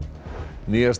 nýjasta